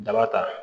Daba ta